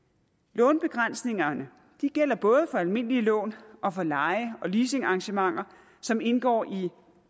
lånebegrænsningerne gælder både for almindelige lån og for leje og leasingarrangementer som indgår i